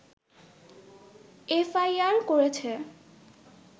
FIR করেছে